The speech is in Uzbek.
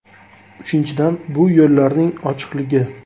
Uchinchidan, bu yo‘llarning ochiqligi.